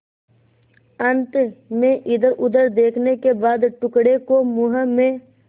अंत में इधरउधर देखने के बाद टुकड़े को मुँह में